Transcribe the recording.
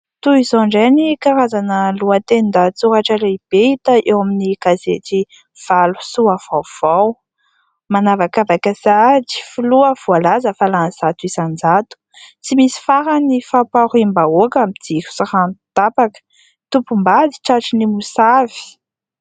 Toy izao indray ny karazana lohaten-dahatsoratra lehibe hita eo amin'ny gazety"Valo Soa Vaovao" : manavakavaka sahady filoha voalaza fa lany zato isan-jato, tsy misy farany ny fampahoriam-bahoaka amin'ny jiro sy rano tapaka, tompom-bady tratry ny mosavy.